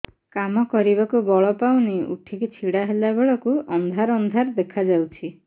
କାମ କରିବାକୁ ବଳ ପାଉନି ଉଠିକି ଛିଡା ହେଲା ବେଳକୁ ଅନ୍ଧାର ଅନ୍ଧାର ଦେଖା ଯାଉଛି